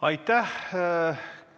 Aitäh!